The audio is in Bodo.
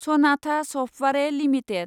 Sanatha software limited